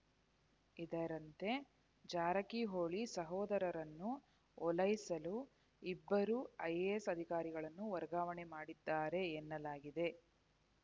ಇದರಂತೆ ಜಾರಕಿಹೊಳಿ ಸಹೋದರರನ್ನು ಓಲೈಸಲು ಇಬ್ಬರು ಐಎಎಸ್‌ ಅಧಿಕಾರಿಗಳನ್ನು ವರ್ಗಾವಣೆ ಮಾಡಿದ್ದಾರೆ ಎನ್ನಲಾಗಿದೆ